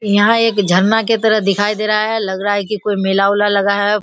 यहां एक झरना के तरह दिखाई दे रहा है लग रहा है की कोई मेला-उला हुआ है।